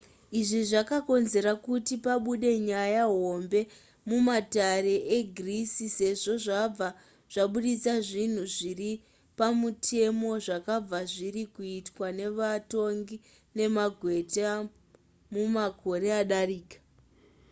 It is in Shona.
izvi zvakonzera kuti pabude nyaya hombe mumatare egreece sezvo zvabva zvabudisa zvinhu zvisiri pamutemo zvakanga zviri kuitwa nevatongi nemagweta mumakore adarika